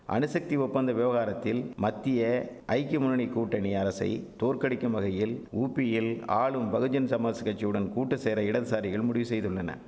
அணுசக்தி ஒப்பந்த விவகாரத்தில் மத்திய ஐக்கிய முன்னணி கூட்டணி அரசை தோற்கடிக்கும் வகையில் ஊப்பியில் ஆளும் பகுஜன் சமாஷ் கட்சியுடன் கூட்டுசேர இடதுசாரிகள் முடிவு செய்துள்ளன